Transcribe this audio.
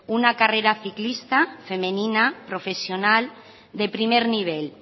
una carrera ciclista femenina profesional de primer nivel